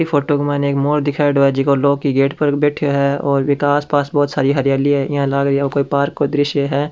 Photo के मई ने एक मोर दिखायेडो है जेका लोहा की गेट पर बैठयो है और वेका आसपास बहुत सारी हरयाली है जेका लग रियो कोई पार्क का दृश्य है।